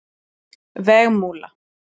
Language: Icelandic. Vegmúla